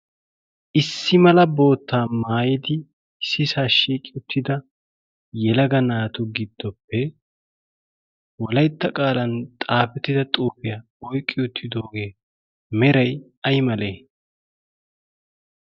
Issi mala bootta maayidi issisa shiiqi uttida yelaga na'atu giddoppe wolaytta qalan xafettida xufiyaa oyqi uttido meray ay malee?